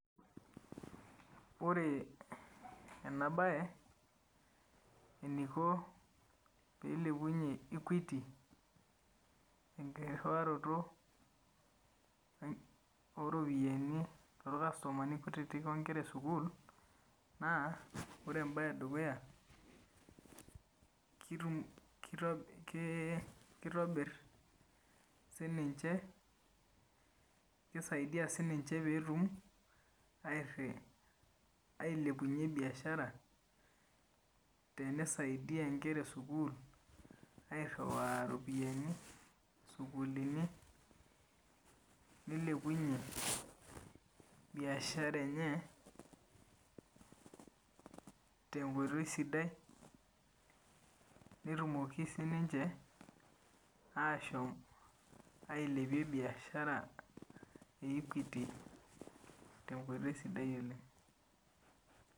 Ore ena bae eniko piilepunye Equity enkirriwaroto oo ropiyiani torkastomani kutiti o nkera e sukuul naa ore embae e dukuya kitobirr siininche, keisaidia siininche peetum ailepunye biashara teneisaidia inkera e sukuul airriwaa iropiyiani sukuulini nilepunye biashara enye tenkoitoi sidai netumoki siininche aashom ailepie biashara e Equity tenkoitoi sidai oleng